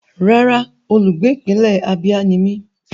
Rárá, olùgbé ìpínlẹ̀ Abia ni mí.